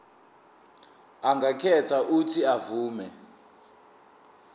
angakhetha uuthi avume